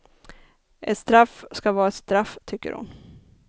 Ett straff ska vara ett straff, tycker hon.